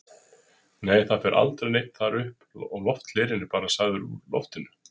Nei, það fer aldrei neinn þar upp og lofthlerinn er bara sagaður úr loftinu.